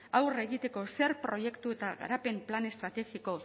aurre egiteko zer proiektu eta garapen plan estrategiko